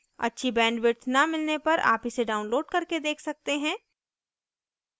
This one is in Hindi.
अच्छी bandwidth न मिलने पर आप इसे download करके देख सकते हैं